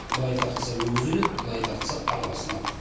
былай тартса өгіз өледі былай тартса арба сынады